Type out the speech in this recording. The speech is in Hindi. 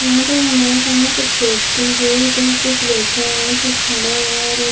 यहाँ पर हमारे सामने कुछ व्यक्ति है जो कुछ बैठे हुए है और कुछ खड़े हुए है और एक --